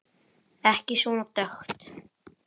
Ekki svona dökkt.